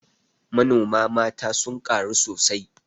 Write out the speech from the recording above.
Manoma mata sun ƙaru sosai